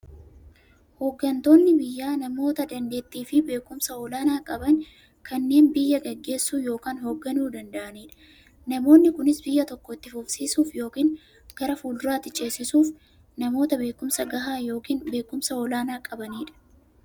Hooggantoonni biyyaa namoota daanteettiifi beekumsa olaanaa qaban, kanneen biyya gaggeessuu yookiin hoogganuu danda'aniidha. Namoonni kunis, biyya tokko itti fufsiisuuf yookiin gara fuulduraatti ceesisuuf, namoota beekumsa gahaa yookiin beekumsa olaanaa qabaniidha.